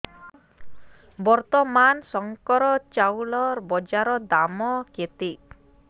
ବର୍ତ୍ତମାନ ଶଙ୍କର ଚାଉଳର ବଜାର ଦାମ୍ କେତେ